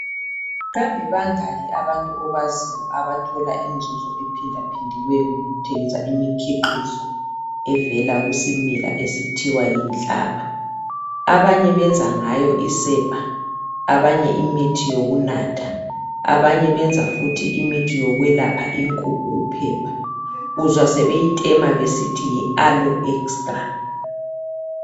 kambe bangaki abantu obaziyo abathola inzuzo ephindaphindiweyo ngokuthengisa imikhiqizo esivela kusimila esithiwa yinhlaba abanye benza ngayo isepa abanye imithi yokunatha abanye benza njlo imithi yokwelapha inkukhu uphepha uzwa sebeyitema sebesithi yi aloe extra